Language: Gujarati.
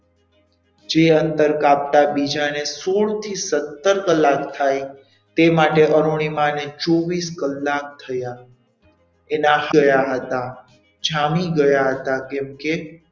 જે અંતર કાપતા બીજાને સોળ થી સત્તર કલાક થાય તે માટે અરુણિમા ની ચોવીસ કલાક થયા તે થયા હતા. જામી ગયા હતા કેમકે,